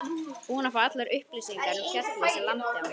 Búinn að fá allar upplýsingar um fjallið sem lamdi hann.